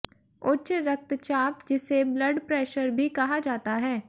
उच्च रक्तचाप जिसे ब्लड प्रेशर भी कहा जाता है